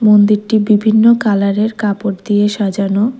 মন্দিরটি বিভিন্ন কালারের কাপড় দিয়ে সাজানো।